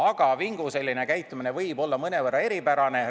Aga vingu käitumine on võib-olla mõnevõrra eripärane.